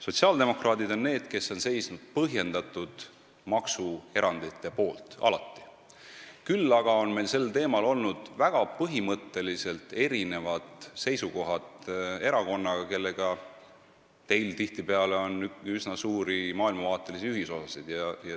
Sotsiaaldemokraadid on alati seisnud põhjendatud maksuerandite poolt, küll aga on meil sel teemal olnud väga põhimõtteliselt erinevad seisukohad erakonnaga, kellega teil on tihtipeale üsna suur maailmavaateline ühisosa.